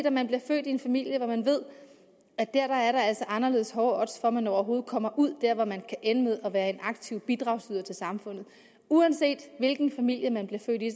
om man bliver født i en familie hvor man ved at der er der altså anderledes hårde odds for at man overhovedet kommer ud der hvor man kan ende med at være en aktiv bidragsyder til samfundet uanset hvilken familie man bliver født i